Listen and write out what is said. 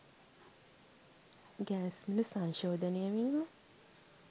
gas මිල සංශෝධනය වීම